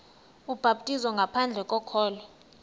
ubhaptizo ngaphandle kokholo